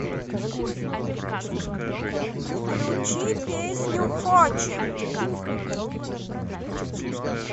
включи песню хочем